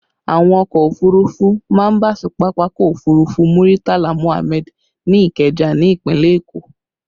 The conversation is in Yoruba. Àwọn ọkọ òfurufú má ń bà sí pápákọ̀ òfurufú Muritala Muhammad ní Ikeja ni ìpínlẹ̀ Èkó